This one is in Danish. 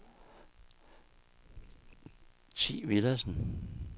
Thi Villadsen